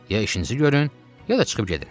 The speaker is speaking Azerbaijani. Ya işinizi görün, ya da çıxıb gedin.